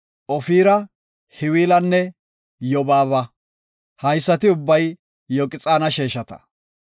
Ofira, Hawilanne Yobaaba. Haysati ubbay Yoqxaana sheeshata.